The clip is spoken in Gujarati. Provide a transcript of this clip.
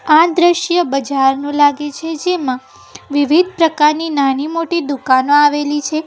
આ દ્રશ્ય બજાર નો લાગે છે જેમાં વિવિધ પ્રકારની નાની મોટી દુકાનો આવેલી છે.